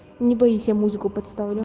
не боись я музыку подставлю